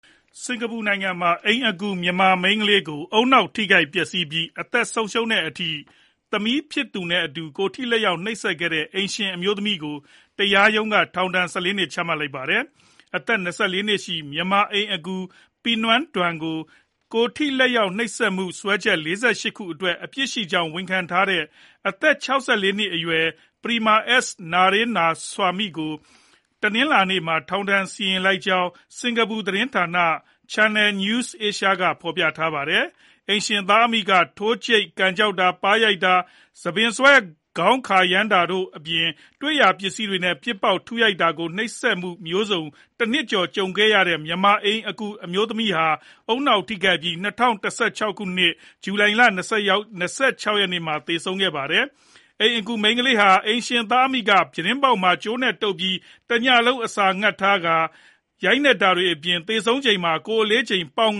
စင်္ကာပူနိုင်ငံမှာ အိမ်အကူမြန်မာမိန်းကလေးကို ဦးနှောက်ထိခိုက်ပျက်စီးပြီး အသက်ဆုံးရှုံးတဲ့အထိ သမီးဖြစ်သူနဲ့အတူ ကိုယ်ထိလက်ရောက်နှိပ်စက်ခဲ့တဲ့ အိမ်ရှင်အမျိုးသမီးကို တရားရုံးက ထောင်ဒဏ် ၁၄ နှစ် ချမှတ်လိုက်ပါတယ်။ အသက် ၂၄ နှစ်ရှိ မြန်မာအိမ်အကူ Piang Ngaih Don ကို ကိုယ်ထိလက်ရောက်နှိပ်စက်မှု စွဲချက် ၄၈ ခု အတွက် အပြစ်ရှိကြောင်းဝန်ခံထားတဲ့ အသက် ၆၄ နှစ်အရွယ် Prema S Naraynasamy ကို တနင်္လာနေ့မှာ ထောင်ဒဏ်စီရင်လိုက်ကြောင်း စင်္ကာပူသတင်းဌာန Channel News Asia ကဖော်ပြခဲ့တာပါ။ အိမ်ရှင်သားအမိက ထိုးကြိတ် ကန်ကျောက်တာ၊ ပါးရိုက်တာ ၊ ဆံပင်ဆွဲ ခေါင်းကိုခါရမ်းတာတို့အပြင် တွေ့ရာ ပစ္စည်းတွေနဲ့ပစ်ပေါက်တာ၊ ထုရိုက်တာတွေလို နှိပ်စက်မှုမျိုးစုံကို တနှစ်ကျော် ကြုံခဲ့ရတဲ့ မြန်မာအိမ်အကူ Piang Ngaih Don ဟာ ဦးနှောက်ထိခိုက်ပြီး ၂ဝ၁၆ ခုနှစ် ဇူလိုင်လ ၂၆ ရက်နေ့မှာ သေဆုံးခဲ့တာ ဖြစ်ပါတယ်။ အိမ်အကူမြန်မာမိန်းကလေးဟာ အိမ်ရှင်သားအမိက ပြတင်းပေါက်မှာ ကြိုးနဲ့တုပ်ထားပြီး တညလုံး အစာငတ်ထားတာ၊ ရိုက်နှက်တာတွေကြောင့် သေဆုံးချိန်မှာ ကိုယ်အလေးချိန် ပေါင်